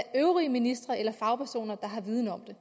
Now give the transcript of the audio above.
øvrige ministre eller fagpersoner der har viden om det